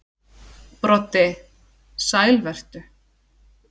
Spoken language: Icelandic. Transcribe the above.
Broddi: Sæl vertu.